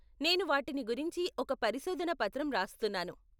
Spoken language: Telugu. నేను వాటిని గురించి ఒక పరిశోధన పత్రం రాస్తున్నాను.